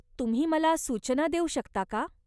तुम्ही मला सूचना देऊ शकता का?